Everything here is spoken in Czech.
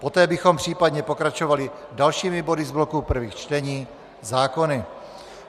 Poté bychom případně pokračovali dalšími body z bloku prvých čtení, zákony.